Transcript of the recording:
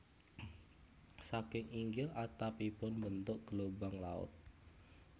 Saking inggil atapipun mbentuk gelombang laut